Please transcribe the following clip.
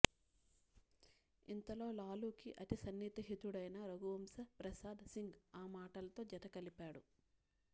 ఇంతలో లాలూకి అతిసన్నిహితుడైన రఘువంశప్రసాద్ సింగ్ ఆ మాటలతో జత కలిపాడు